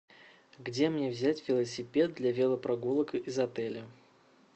где мне взять велосипед для велопрогулок из отеля